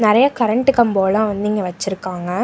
நெறைய கரண்ட் கம்பலாம் வந்து இங்க வச்சுருக்காங்க.